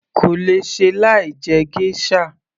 kò lè ṣe láì jẹ geisha